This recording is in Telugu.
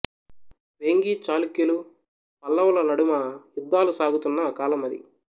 వేంగీ చాళుక్యులు పల్లవుల నడుమ యుద్ధాలు సాగుతున్న కాలం అది